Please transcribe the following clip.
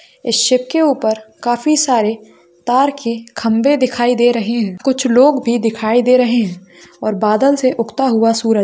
इस शीप के ऊपर काफी सारे तार के खंबे दिखाई दे रहें हैं कुछ लोग भी दिखाई दे रहें हैं और बादल से उगता हुआ सूरज --